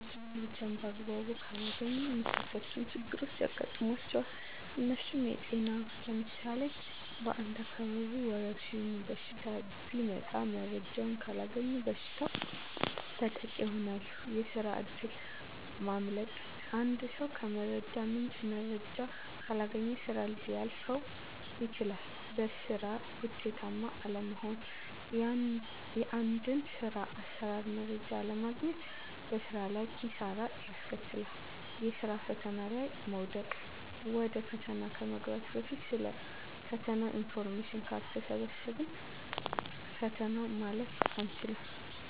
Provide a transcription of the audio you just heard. ሰዊች መረጃን በአግባቡ ካላገኙ የሚከተሉት ችግሮች ያጋጥሟቸዋል። እነርሱም -የጤና ለምሳሌ በአንድ አካባቢ ወረድሽኝ በሽታ ቢመጣ መረጃውን ካላገኙ በበሽታው ተጠቂ ይሆናሉ፤ የስራ እድል ማምለጥ -አንድ ሰው ከመረጃ ምንጭ መረጃ ካላገኘ ስራ ሊያልፈው ይችላል፤ በስራ ውጤታማ አለመሆን -የአንድን ስር አሰራር መረጃ አለማግኘት በስራ ላይ ኪሳራን ያስከትላል፤ የስራ ፈተና ላይ መውደቅ -ወደ ፈተና ከመግባት በፊት ስለ ፈተናው ኢንፎርሜሽን ካልሰበሰብን ፈተናውን ማለፍ አይቻልም።